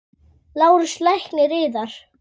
LÁRUS: Lækninn yðar?